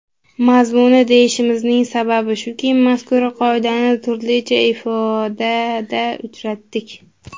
Mazmuni deyishimizning sababi shuki, mazkur qoidani turlicha ifodada uchratdik.